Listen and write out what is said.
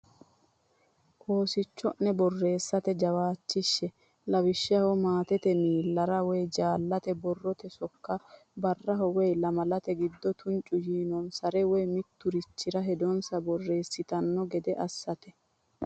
Oosicho’ne borreessate jawaachishshe; lawishshaho, maatete miillara woy jaallate borrote sokka, barraho woy lamalate giddo tuncu yiinonsare, woy mitturichire hedonsa borreessitanno gede assate.